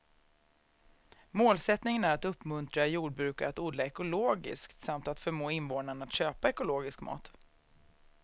Målsättningen är att uppmuntra jordbrukare att odla ekologiskt samt att förmå invånarna att köpa ekologisk mat.